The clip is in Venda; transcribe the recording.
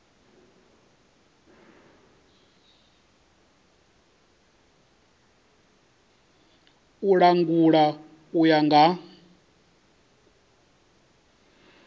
u langula u ya nga